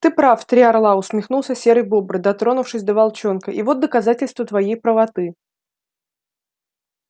ты прав три орла усмехнулся серый бобр дотронувшись до волчонка и вот доказательство твоей правоты